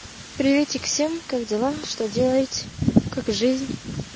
приветик всем как дела что делаете как жизнь